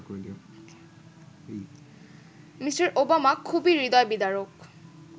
Me. Obama খুবই হৃদয়বিদারক